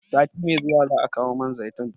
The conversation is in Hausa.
Sati mai zuwa za'a kawo man zaitun